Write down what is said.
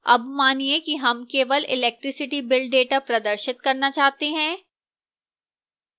अब मानिए कि हम केवल electricity bill data प्रदर्शित करना चाहते हैं